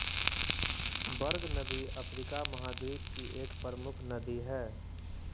बर्ग नदी अफ्रीका महाद्वीप की एक प्रमुख नदी हैं